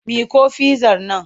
Miƙo fizzar nan!